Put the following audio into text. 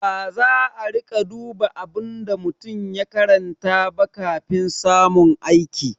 Baza a riƙa duba abin da mutum ya karanta ba kafin samun aiki.